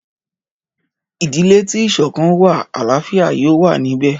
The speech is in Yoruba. Ìdílé tí ìsọ̀kan wà àláfíà yóò wà níbẹ̀.